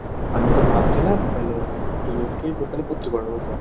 আমি তো ভাবছিলাম তালে, দুজনকেই তালে ভর্তি করে দেবো চল।